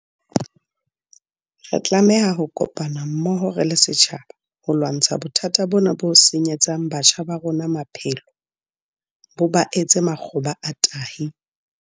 Re tlameha ho kopana mmoho re le setjhaba ho lwantsha bothata bona bo senyetsang batjha ba rona maphelo, bo ba etse makgoba a tahi.